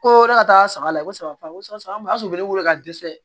Ko ne ka taa saga lajɛ ko saga ko sala o y'a sɔrɔ ne weele ka dɛsɛ